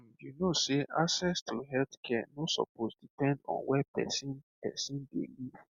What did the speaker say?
um you know sey access to healthcare no suppose depend on where person person dey live